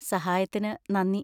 സഹായത്തിന് നന്ദി.